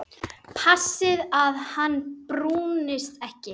Passið að hann brúnist ekki.